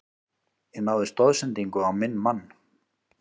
Ég náði stoðsendingu á minn mann.